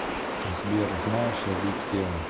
сбер знаешь язык тела